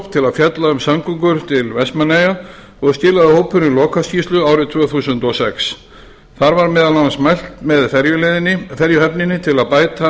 að fjalla um samgöngur til vestmannaeyja og skilaði hópurinn lokaskýrslu árið tvö þúsund og sex þar var meðal annars mælt með ferjuhöfninni til að bæta almenningssamgöngur